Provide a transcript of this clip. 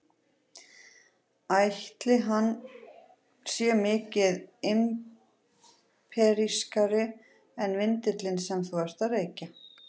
Ætli hann sé mikið imperíalískari en vindillinn sem þú ert að reykja?